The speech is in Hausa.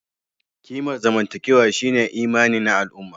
Kimar zamantakewa shine imani na al'umma